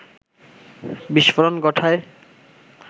বিস্ফোরণ ঘটায়